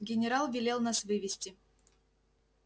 генерал велел нас вывести